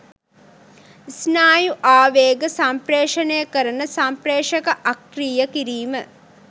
ස්නායු ආවේග සම්ප්‍රේෂණය කරන සම්ප්‍රේෂක අක්‍රිය කිරීම